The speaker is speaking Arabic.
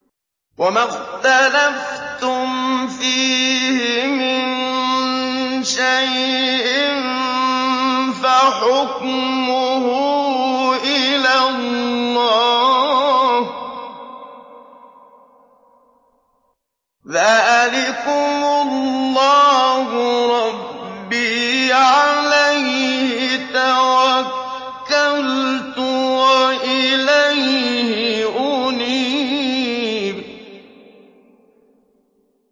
وَمَا اخْتَلَفْتُمْ فِيهِ مِن شَيْءٍ فَحُكْمُهُ إِلَى اللَّهِ ۚ ذَٰلِكُمُ اللَّهُ رَبِّي عَلَيْهِ تَوَكَّلْتُ وَإِلَيْهِ أُنِيبُ